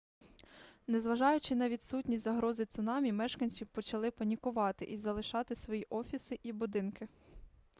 незважаючи на відсутність загрози цунамі мешканці почали панікувати і залишати свої офіси і будинки